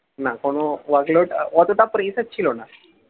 না কোন work load অতটা pressure ছিল না